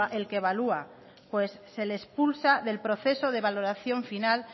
el que evalúa pues se les expulsa del proceso de valoración final